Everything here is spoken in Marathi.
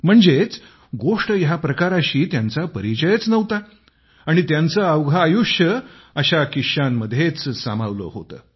म्हणजेच गोष्ट या प्रकाराशी त्यांचा परिचयच नव्हता आणि त्यांचे अवघे आयुष्य अशा किश्श्यांनीच समृद्ध झाले होते